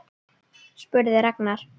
spurði Ragnar.